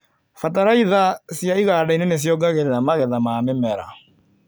Bataraitha cia igandainĩ nĩciongagĩrĩra magetha ma mĩmera.